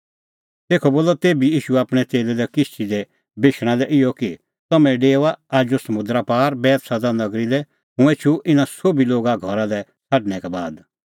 तेखअ बोलअ तेभी ईशू आपणैं च़ेल्लै लै किश्ती दी बेशणा लै इहअ कि तम्हैं डेओआ आजू समुंदरा पार बैतसैदा लै हुंह एछूं इना सोभी लोगा घरा लै छ़ाडणैं का बाद